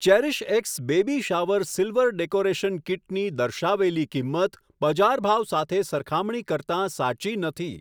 CherishX baby shower silver decoration કીટની દર્શાવેલી કિંમત બજાર ભાવ સાથે સરખામણી કરતાં સાચી નથી.